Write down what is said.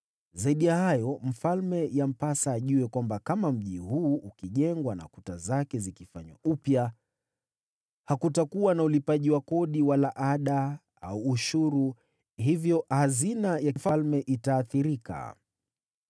Zaidi ya hayo, mfalme yampasa ajue kwamba kama mji huu ukijengwa na kuta zake zikafanywa upya, hakutakuwa na ulipaji wa kodi wala ada au ushuru, hivyo hazina za mfalme zitaathirika.